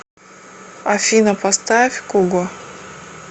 афина поставь куго